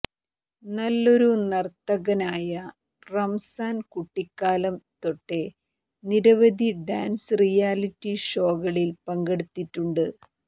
നല്ലൊരു നർത്തകനായ റംസാൻ കുട്ടിക്കാലം തൊട്ടേ നിരവധി ഡാൻസ് റിയാലിറ്റി ഷോകളിൽ പങ്കെടുത്തിട്ടുണ്ട്